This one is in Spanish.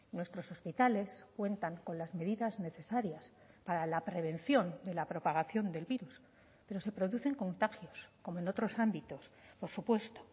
nuestros hospitales cuentan con las medidas necesarias para la prevención de la propagación del virus pero se producen contagios como en otros ámbitos por supuesto